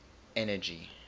energy